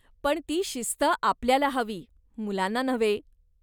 पण ती शिस्त आपल्याला हवी, मुलांना नव्हे.